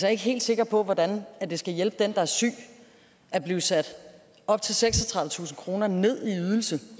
er ikke helt sikker på hvordan det skal hjælpe den der er syg at blive sat op til seksogtredivetusind kroner ned